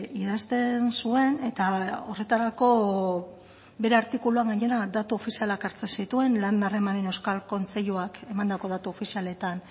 idazten zuen eta horretarako bere artikuluan gainera datu ofizialak hartzen zituen lan harremanen euskal kontseiluak emandako datu ofizialetan